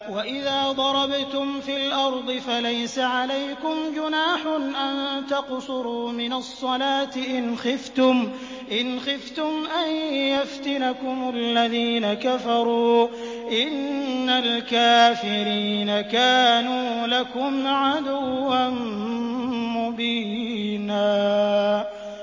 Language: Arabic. وَإِذَا ضَرَبْتُمْ فِي الْأَرْضِ فَلَيْسَ عَلَيْكُمْ جُنَاحٌ أَن تَقْصُرُوا مِنَ الصَّلَاةِ إِنْ خِفْتُمْ أَن يَفْتِنَكُمُ الَّذِينَ كَفَرُوا ۚ إِنَّ الْكَافِرِينَ كَانُوا لَكُمْ عَدُوًّا مُّبِينًا